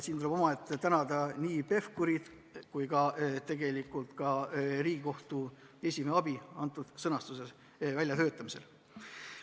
Siin tuleb eraldi tänada nii Hanno Pevkurit kui ka Riigikohtu esimeest, kes selle sõnastuse välja pakkusid.